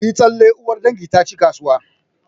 Ku yi tsalle! uwar dangi ta ci kasuwa